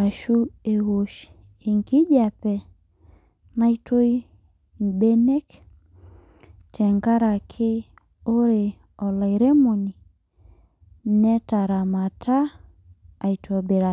ashuu ewosh enkijiape naitoi imbenek tengaraki ore olairemoni netaramata aitobiraki